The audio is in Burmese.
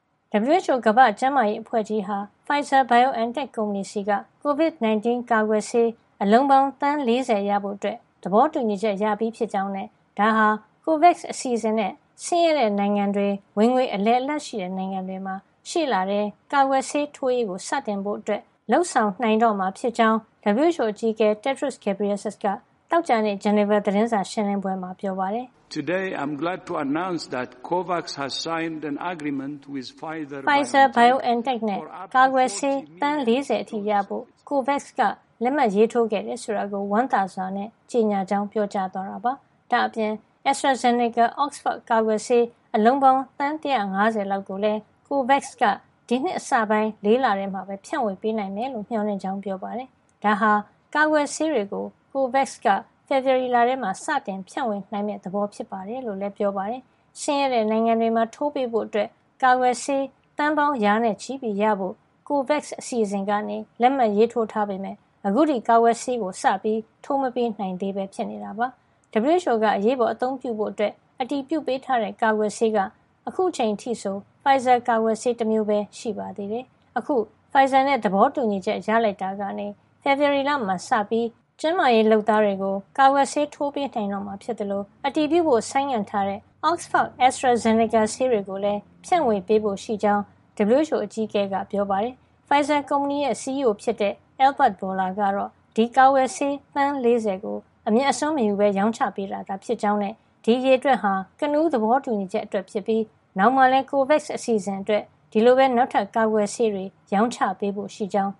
WHO ကမ္ဘာ့ကျန်းမာရေး အဖွဲ့ကြီးဟာ Pfizer/BioNTech ကုမ္ပဏီဆီက COVID-19 ကာကွယ်ဆေး အလုံးပေါင်း သန်း ၄၀ ရဖို့ သဘောတူညီချက်ရပြီဖြစ်ကြောင်းနဲ့ ဒါဟာ COVAX အစီစဉ်နဲ့ ဆင်းရဲတဲ့ နိုင်ငံတွေ၊ ဝင်ငွေအလယ်လတ်ရှိတဲ့ နိုင်ငံတွေမှာ ရှေ့လထဲ ကာကွယ်ဆေးထိုးရေးကို စတင်ဖို့ လုပ်နိုင်တော့မှာ ဖြစ်ကြောင်း WHO အကြီးအကဲ Tedros Adhanom Ghebreyesus က သောကြာနေ့ ဂျနီဗာ သတင်းစာရှင်းလင်းပွဲမှာ ပြောပါတယ်။ Pfizer-BioNTech နဲ့ ကာကွယ်ဆေး သန်း ၄၀ အထိရဖို့ COVAX က လက်မှတ်ရေးထိုးခဲ့တယ် ဆိုတာကို ဝမ်းသာစွာနဲ့ ကြေညာကြောင်း ပြောသွားတာပါ။ ဒါ့အပြင် AstraZeneca-Oxford ကာကွယ်ဆေး အလုံးပေါင်း သန်း ၁၅၀ လောက်ကိုလည်း COVAX က ဒီနှစ် အစပိုင်း ၄ လထဲမှာ ဖြန့်ဝေပေးနိုင်မယ်လို့ မေ ျှာ်လင့်ကြောင်းလည်း ပြောပါတယ်။ ဒါဟာ ကာကွယ်ဆေးတွေကို COVAX က ဖေဖေါ်ဝါရီလမှာ စတင်ဖြန့်ဝေ နိုင်မယ့် သဘောဖြစ်တယ်လို့လည်း ပြောပါတယ်။ ဆင်းရဲတဲ့နိုင်ငံတွေမှာထိုးပေးဖို့ ကာကွယ်ဆေး သန်းပေါင်း ရာနဲ့ချီပြီး ရဖို့ COVAX အစီစဉ်က လက်မှတ်ရေးထိုးထားပေမယ့် အခုထိ ကာကွယ်ဆေး စမထိုးပေးနိုင်သေးပဲ ဖြစ်နေတာပါ။ WHO က အရေးပေါ်အသုံးပြုဖို့ အတည်ပြုပေးထားတဲ့ ကာကွယ်ဆေးက အခုအချိန်အထိဆို Pfizer ကာကွယ်ဆေး တမျိုးပဲ ရှိပါသေးတယ်။ အခု Pfizer နဲ့ သဘောတူညီချက်ရလိုက်တာကနေ ဖေဖေါ်ဝါရီလမှာ စပြီး ကျန်းမာရေး လုပ်သားတွေကို ကာကွယ်ဆေးထိုးပေး နိုင်တော့မှာ ဖြစ်သလို အတည်ပြုဖို့ဆိုင်းငံ့ထားတဲ့ Oxford-AstraZeneca ဆေးတွေကိုလည်း ဖြန့်ဝေဖို့ ရှိကြောင်း WHO အကြီးအကဲက သတင်းစာရှင်းလင်းပွဲမှာ ပြောပါတယ်။ Pfizer ကုမ္ပဏီရဲ့ CEO ဖြစ်တဲ့ Albert Bourla ကတော့ ဒီကာကွယ်ဆေး သန်း ၄၀ ကို အမြတ်အစွန်းမယူပဲ ရောင်းချပေးတာ ဖြစ်ကြောင်းနဲ့ ဒီအရေအတွက်ဟာ ကနဦးသဘောတူချက် အတွက် ဖြစ်ပြီး နောင်မှာလည်း COVAX အစီစဉ် အတွက် ဒီလိုပဲ နောက်ထပ်ကာကွယ်ဆေးတွေ ရောင်းချပေးဖို့ ရှိကြောင်း